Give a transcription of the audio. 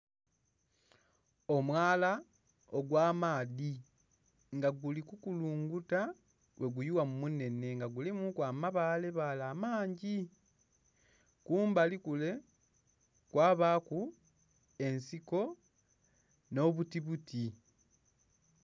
Omwala ogwa maadhi nga gili kukulunguta bwe guyugha mu munenhe nga gulimu ku amabale bale amangi. Kumbali kule kwabaku ensiko nho buti buti.